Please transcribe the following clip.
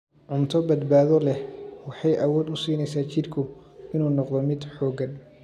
Cunto badbaado leh waxay awood u siinaysaa jidhku inuu noqdo mid xooggan.